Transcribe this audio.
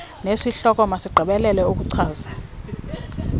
nesihloko masigqibelele ukuchaza